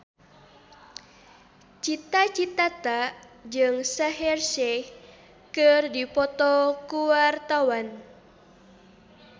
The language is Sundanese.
Cita Citata jeung Shaheer Sheikh keur dipoto ku wartawan